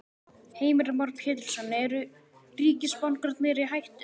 Heimir Már Pétursson: Eru ríkisbankarnir í hættu?